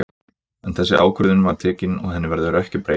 En þessi ákvörðun var tekin og henni verður ekki breytt.